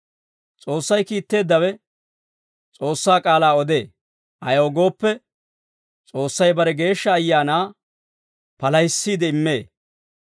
S'oossay kiitteeddawe S'oossaa k'aalaa odee; ayaw gooppe, S'oossay bare Geeshsha Ayaanaa palahissiide immee.